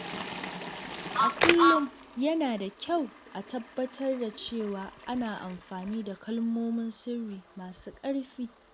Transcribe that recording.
A kullum, yana da kyau a tabbatar da cewa ana amfani da kalmomin sirri masu ƙarfi.